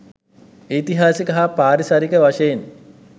ඓතිහාසික හා පාරිසරික වශයෙන්